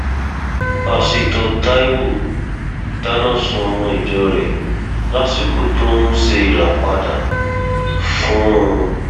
pásítọ taiwo dáná sun ọmọ ìjọ rẹ lásìkò tó ń ṣe ìràpadà fún un